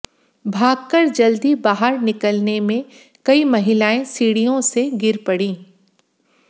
भागकर जल्दी बाहर निकलने में कई महिलाएं सीढ़ियों से गिर पड़ीं